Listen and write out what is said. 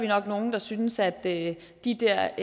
nok nogle der synes at de der